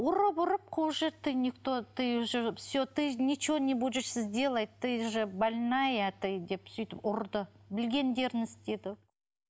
ұрып ұрып қуып жіберді ты никто ты уже все ты ничего не будешь сделать ты же больная ты деп сөйтіп ұрды білгендерін істеді